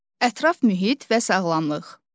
Ətraf mühit və sağlamlıq.